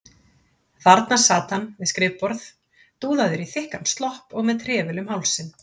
Þarna sat hann við skrifborð, dúðaður í þykkan slopp og með trefil um hálsinn.